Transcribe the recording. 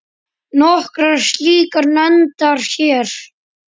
Nokkrar slíkar nefndar hér